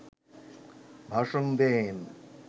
ভাষণ দেন